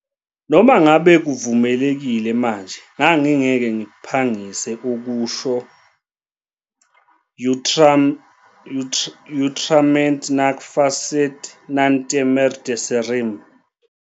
noma ngabe kuvumelekile manje, ngangingeke ngiphangise ukusho, utrum et nunc fas sit, non temere dixerim.